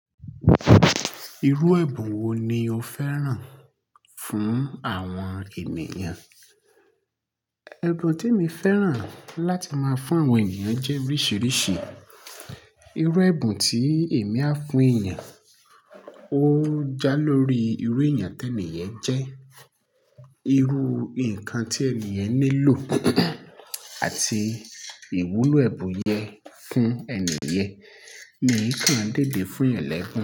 Irú ẹ̀bùn wo ni o fẹ́ràn fún àwọn ènìyàn? Ẹ̀bùn tí mo fẹ́ràn láti máa fún àwọn ènìyàn jẹ́ oríṣiríṣi. Irú ẹ̀bùn tí èmi á fún ènìyàn, ó jálori irú ènìyàn tí ènìyàn jẹ́, irú nǹkan tí ènìyàn nílò àti ìwúlò ẹ̀bùn yẹn fún ènìyèn. Mi ò kí ń dèdé fún ẹ̀lẹ́bùn.